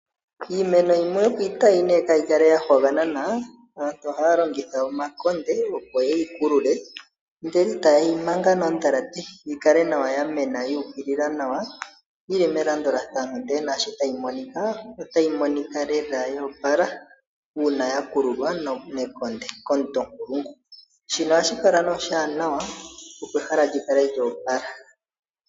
Iimeno yimwe opo iitayi kayi kale ya hwaganana, aantu ohaya longitha omakonde opo ye yi kulule, ndele ta yeyi manga noodhalate yikale nawa, ya mena nawa yuukilila, yili melandulathano nde nashi tayi monikwa, otayi monika lela yoopala, uuna ya kululwa nekonde, komuntu onkulungu, shika ohashi kala oshiwanawa opo ehala likale lyoopala.